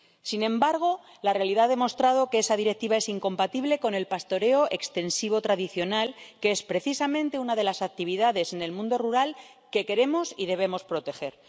Sin embargo, la realidad ha demostrado que esa Directiva es incompatible con el pastoreo extensivo tradicional, que es precisamente una de las actividades en el mundo rural que queremos y debemos proteger.